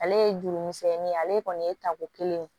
Ale ye juru misɛnnin ye ale kɔni ye tako kelen ye